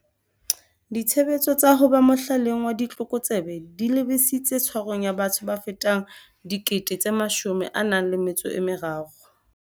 Ditshebetso tsa ho ba mohlaleng wa ditlokotsebe di lebisitse tshwarong ya batho ba fetang 13 000.